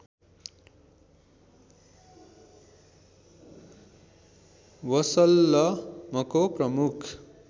वसल्लमको प्रमुख